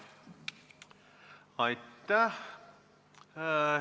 Aitäh!